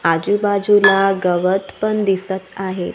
आजूबाजूला गवत पण दिसत आहे.